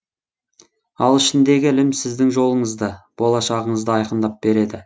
ал ішіндегі ілім сіздің жолыңызды болашағыңызды айқындап береді